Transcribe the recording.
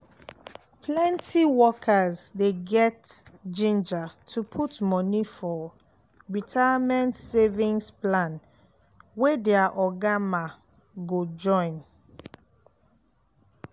plenty workers dey get ginger to put money for retirement savings plan wey their oga ma go join